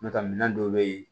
N'o tɛ minɛn dɔw bɛ ye